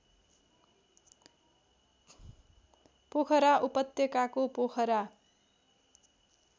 पोखरा उपत्यकाको पोखरा